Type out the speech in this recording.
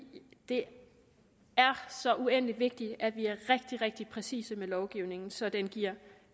det er så uendelig vigtigt at vi er rigtig rigtig præcise med lovgivningen så den